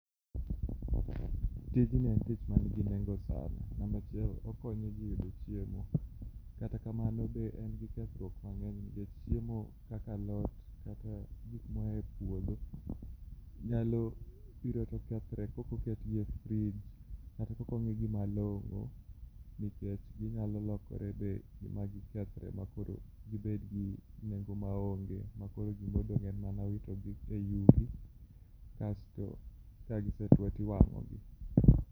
Tijni en tich manigi nengo sana ,namba achiel okonyoji eyudo chiemo kata kamano be en gi kethruok mang'eny nikech chiemo kaka alot kata gik moa e puodho nyalo biro to kethre kaok oketgi e frij kata kaok ong'igi malong'o nikech ginyalo lokore magikethre makoro gibed gi nengo maonge makoro gima odong' en mana witogi eyugi kasto kagisetuo to iwang'o gi.